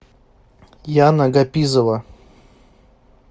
яна гапизова